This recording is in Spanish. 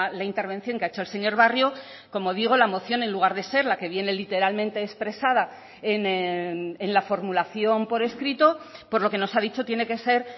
la intervención que ha hecho el señor barrio como digo la moción en lugar de ser la que viene literalmente expresada en la formulación por escrito por lo que nos ha dicho tiene que ser